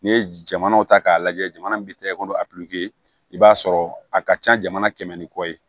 N'i ye jamanaw ta k'a lajɛ jamana bɛ tɛgɛ ko a i b'a sɔrɔ a ka ca jamana kɛmɛ ni kɔ ye